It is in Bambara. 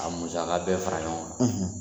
A musaka bɛɛ fara ɲɔgɔn kan